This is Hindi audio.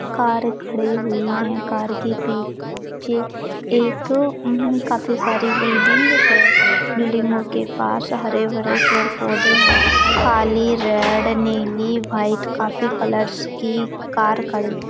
कार खड़ी हुई है कार के पीछे एक खाफी सारी बिल्डिंग्स बिल्डिंगों के पास हरे भरे पेड़ पौधे है काली रेड नीली व्हाइट खाफी कलर्स कार खड़ी--